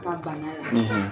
Ka banna la